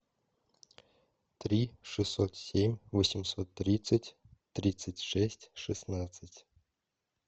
три шестьсот семь восемьсот тридцать тридцать шесть шестнадцать